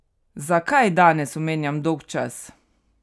Zakaj danes omenjam dolgčas?